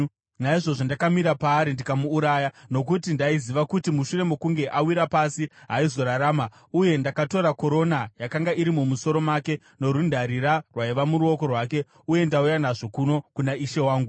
“Naizvozvo ndakamira paari ndikamuuraya, nokuti ndaiziva kuti mushure mokunge awira pasi haaizorarama. Uye ndakatora korona yakanga iri mumusoro make norundarira rwaiva muruoko rwake, uye ndauya nazvo kuno kuna ishe wangu.”